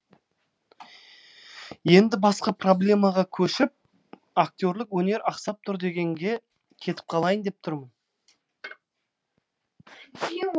енді басқа проблемаға көшіп актерлік өнер ақсап тұр дегенге кетіп қалайын деп тұрмын